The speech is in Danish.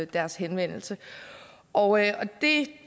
deres henvendelse og det